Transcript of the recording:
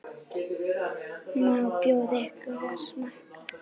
Má bjóða ykkur að smakka?